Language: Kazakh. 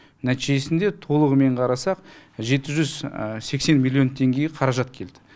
нәтижесінде толығымен қарасақ жеті жүз сексен миллион теңгеге қаражат келді